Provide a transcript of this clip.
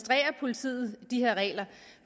sige